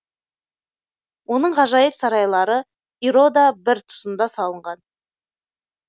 оның ғажайып сарайлары ирода бір тұсында салынған